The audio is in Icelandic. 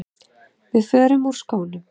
Við förum úr skónum.